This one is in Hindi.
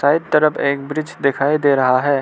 दाएं तरफ एक ब्रिज दिखाई दे रहा है।